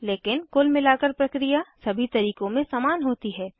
लेकिन कुल मिलाकर प्रक्रिया सभी तरीकों में समान होती है